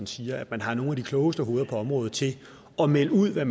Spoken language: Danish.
siger at man har nogle af de klogeste hoveder på området til at melde ud hvad